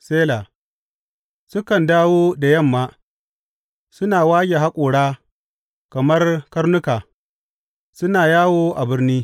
Sela Sukan dawo da yamma, suna wage haƙora kamar karnuka, suna yawo a birni.